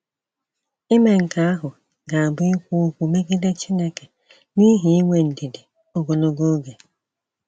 Ime nke ahụ ga-abụ ikwu okwu megide Chineke n’ihi inwe ndidi ogologo oge.